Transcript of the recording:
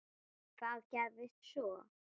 Hvað gerðist svo!?